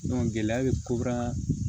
gɛlɛya bɛ kobara